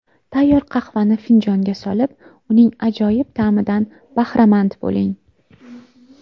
Tayyor qahvani finjonga solib, uning ajoyib ta’midan bahramand bo‘ling!